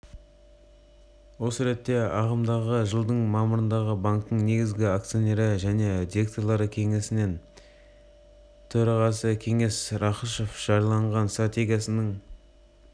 осы ретте ағымдағы жылдың мамырында банктің негізгі акционері және директорлар кеңесінің төрағасы кеңес рақышев жариялаған стратегияның